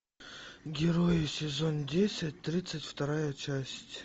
герои сезон десять тридцать вторая часть